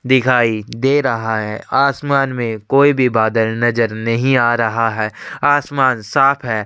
दिखाई दे रहा है आसमान में कोई भी बादल नजर नहीं आ रहा है आसमान साफ़ है।